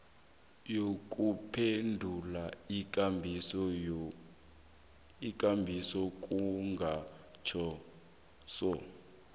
nokuphendula iinkambiso kungatjhejwa